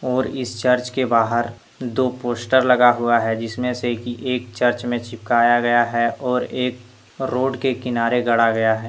और इस चर्च के बाहर दो पोस्टर लगा हुआ है जिसमें से कि एक चर्च में चिपकाया गया है और एक रोड के किनारे गाड़ा गया है।